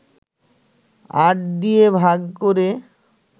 ৮ দিয়ে ভাগ করে